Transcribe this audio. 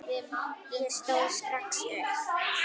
Ég stóð strax upp.